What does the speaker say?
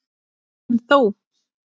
En þó.